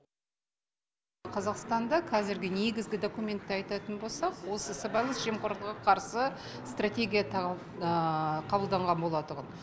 қазақстанда қазіргі негізгі документті айтатын болсақ осы сыбайлас жемқорлыққа қарсы стратегия қабылданған болатұғын